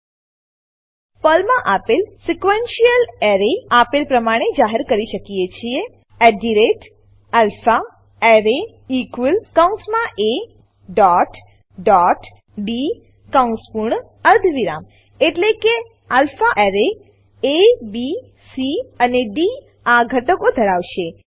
પર્લમાં આપણે sequential array sequential array આપેલ પ્રમાણે જાહેર કરી શકીએ છીએ alphaArray કૌંસમાં એ ડોટ ડોટ ડી કૌંસ પૂર્ણ અર્ધવિરામ એટલે કે alpha array alpha array A B C અને ડી આ ઘટકો ધરાવશે